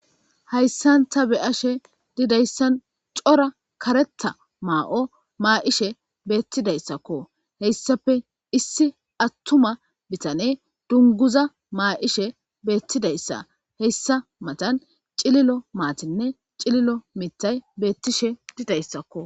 Hayssanta be'ashe didayssan cora kareta maa'o maa'ishe beettidayssakko heyssafe issi attuma bitane dunguza maa'ishe beettidayssa heyssa matan cililo maatinne cililo mitay beettishe didayssakko.